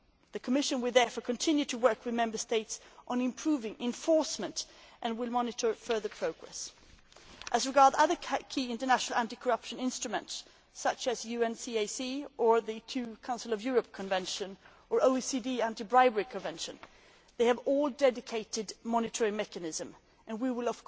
The Commission will therefore continue to work with Member States on improving enforcement and will monitor further progress. As regards other key international anti corruption instruments such as the UNCAC, the two Council of Europe conventions and the OECD anti bribery convention, they all have a dedicated monitoring mechanism and we